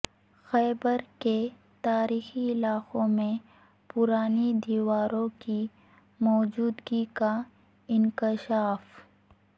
خیبر کے تاریخی علاقے میں پرانی دیواروں کی موجودگی کا انکشاف